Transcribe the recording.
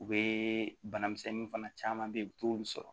U bɛ bana misɛnnin fana caman beyi u t'olu sɔrɔ